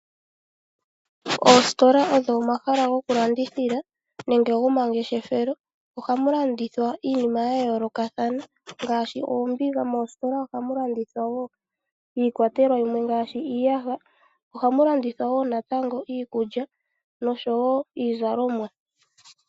Oositola odho omahala goku landithila nenge gomangeshefelo. Oha mu landithwa iinima ya yoolokathana ngaashi oombiga, iiyaha, iikulya nosho woo iizalomwa.